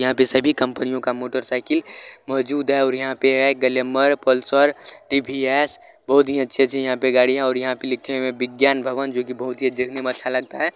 यहाँ पे सभी कंपनियों का मोटर साइकिल मौजूद हैं और यहाँ पे है ग्लैमर पल्सर टी.वी.एस. बहुत ही अच्छे-अच्छे यहाँ पे पर गाड़ी है और यहाँ पे लिखे हुए विज्ञान भवन जो की बहुत ही अच्छा लगता है।